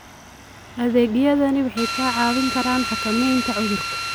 Adeegyadani waxay kaa caawin karaan xakamaynta cudurka.